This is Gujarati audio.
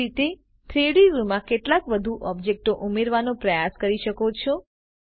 એ જ રીતે 3ડી વ્યુંમાં કેટલાક વધુ ઓબ્જેક્ટો ઉમેરવાનો પ્રયાસ કરી શકો છો